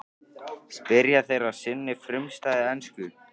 spyrja þeir á sinni frumstæðu ensku.